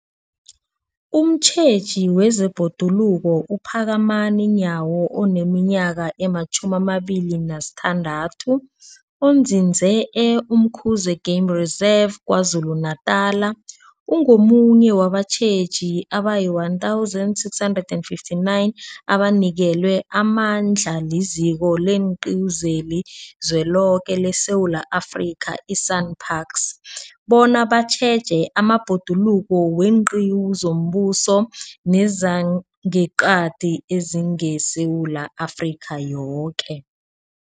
Umtjheji wezeBhoduluko uPhakamani Nyawo oneminyaka ema-26, onzinze e-Umkhuze Game Reserve KwaZulu-Natala, ungomunye wabatjheji abayi-1 659 abanikelwe amandla liZiko leenQiwu zeliZweloke leSewula Afrika, i-SANParks, bona batjheje amabhoduluko weenqiwu zombuso nezangeqadi ezingeSewula Afrika yoke.